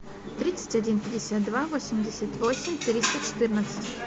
тридцать один пятьдесят два восемьдесят восемь триста четырнадцать